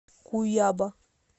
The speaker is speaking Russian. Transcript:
куяба